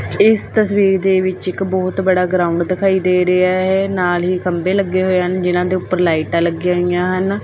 ਇਸ ਤਸਵੀਰ ਦੇ ਵਿੱਚ ਇੱਕ ਬਹੁਤ ਵੱਡਾ ਗਰਾਊਡ ਦਿਖਾਈ ਦੇ ਰਿਹਾ ਹੈ ਨਾਲ ਹੀ ਖੰਬੇ ਲੱਗੇ ਹੋਏ ਹਨ ਜਿਹਨਾਂ ਦੇ ਉੱਪਰ ਲਾਈਟਾਂ ਲੱਗੀਆਂ ਹੋਈਆਂ ਹਨ।